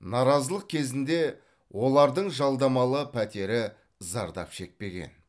наразылық кезінде олардың жалдамалы пәтері зардап шекпеген